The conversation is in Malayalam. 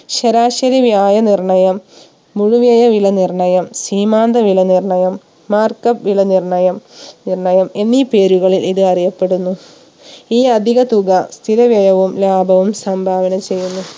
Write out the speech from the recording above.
ശരാശരി വ്യായ നിർണയം മുഴുവില വില നിർണയം സീമാന്ത വില നിർണയം Markup വില നിർണയം നിർണയം എന്നീ പേരുകളിൽ ഇത് അറിയപ്പെടുന്നു ഈ അധിക തുക സ്ഥിര വ്യയവും ലാഭവവും സംഭാവന ചെയ്യുന്നു